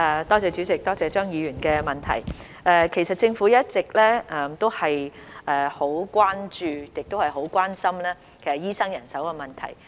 代理主席，多謝張議員的問題，其實政府一直都很關注，亦很關心醫生人手的問題。